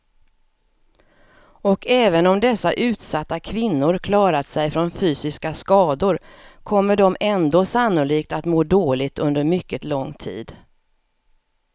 Och även om dessa utsatta kvinnor klarat sig från fysiska skador kommer de ändå sannolikt att må dåligt under mycket lång tid.